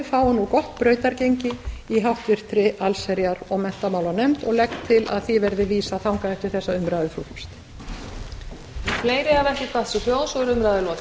fái nú gott brautargengi í háttvirtri allsherjar og menntamálanefnd og legg til að því verði vísað þangað eftir þessa umræðu frú forseti